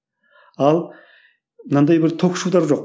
ал мынандай бір ток жоқ